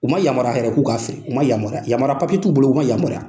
U ma yamaruya yɛrɛ k'u k'a feere ,u ma yamaruya, yamara papiye t'u bolo u ma yamaruya.